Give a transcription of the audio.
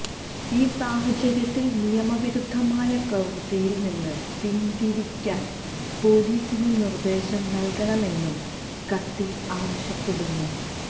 ഈ സാഹചര്യത്തില് നിയമവിരുദ്ധമായ പ്രവൃത്തിയില് നിന്ന് പിന്തിരിയാന് പോലീസിന് നിര്ദേശം നല്കണമെന്നും കത്തില് ആവശ്യപ്പെടുന്നു